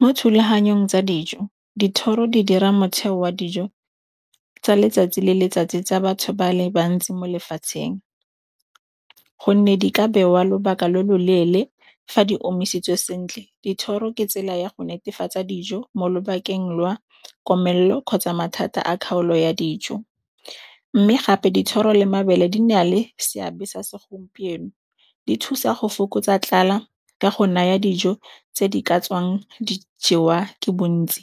Mo thulaganyong tsa dijo dithoro di dira motheo wa dijo tsa letsatsi le letsatsi tsa batho ba le bantsi mo lefatsheng gonne di ka bewa lobaka lo lo leele fa di omisitswe sentle. Dithoro ke tsela ya go netefatsa dijo mo lobakeng lwa komelelo kgotsa mathata a kgaolo ya dijo. Mme gape dithoro le mabele di na le seabe sa segompieno, di thusa go fokotsa tlala ka go naya dijo tse di ka tswang dijewa ke bontsi.